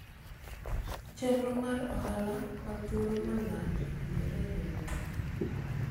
chenro mar ohala ma thuolo malach owinjore e riwruok